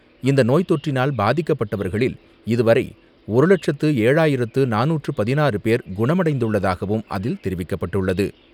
இந்த நோய் தொற்றினால் பாதிக்கப்பட்டவர்களில் இதுவரை ஒரு லட்சத்து ஏழாயிரத்து நானூற்று பதினாறு பேர் குணமடைந்துள்ளதாகவும் அதில் தெரிவிக்கப்பட்டுள்ளது.